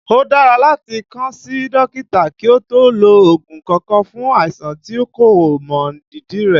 Ó dára láti kàn sí dókítà kí o tó lo ògùn kankan fún àìsàn tí o kò mọ ìdí rẹ̀